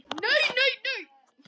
Nei, nei, nei, nei.